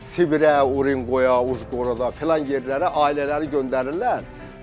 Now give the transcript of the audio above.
Sibirə, Urenqoya, Ujqorada filan yerlərə ailələri göndərirlər.